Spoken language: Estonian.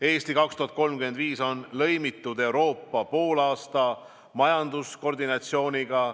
"Eesti 2035" on lõimitud Euroopa poolaasta majanduskoordinatsiooniga.